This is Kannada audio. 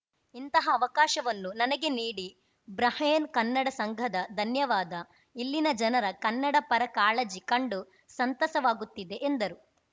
ಇಂತಹ ಅವಕಾಶವನ್ನು ನನಗೆ ನೀಡಿ ಬಹ್ರೇನ್‌ ಕನ್ನಡ ಸಂಘದ ಧನ್ಯವಾದ ಇಲ್ಲಿನ ಜನರ ಕನ್ನಡಪರ ಕಾಳಜಿ ಕಂಡು ಸಂತಸವಾಗುತ್ತಿದೆ ಎಂದರು